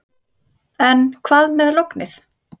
En hvað með lognið.